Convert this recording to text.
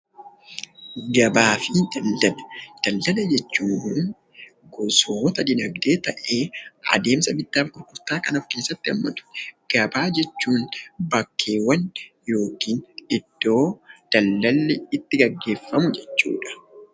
Gabaa fi daldala. Daldala jechuun gosoota diinagdee ta'ee adeemsa bittaaf gurgurtaa kan of keessatti haammatu. Gabaa jechuun bakkeewwan yookiin iddoo daldalli itti geggeeffamu jechuudha.